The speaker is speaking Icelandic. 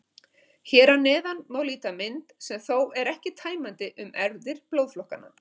Hér að neðan má líta mynd, sem þó er ekki tæmandi, um erfðir blóðflokkanna.